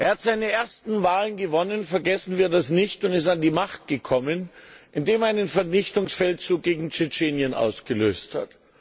Er hat seine ersten Wahlen gewonnen vergessen wir das nicht und ist an die Macht gekommen, indem er einen Vernichtungsfeldzug gegen Tschetschenien ausgelöst hat.